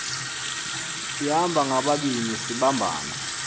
sihamba ngababini sibambana